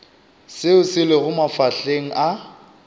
seo se lego mafahleng a